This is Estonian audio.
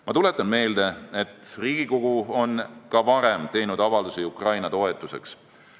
Ma tuletan meelde, et Riigikogu on ka varem teinud avaldusi Ukraina toetuseks.